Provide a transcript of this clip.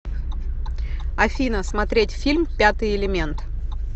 афина смотреть фильм пятый элемент